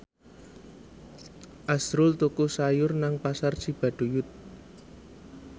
azrul tuku sayur nang Pasar Cibaduyut